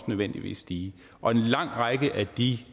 nødvendigvis stigende og en lang række af de